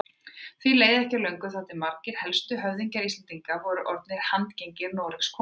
Því leið ekki á löngu þar til margir helstu höfðingjar Íslendinga voru orðnir handgengnir Noregskonungi.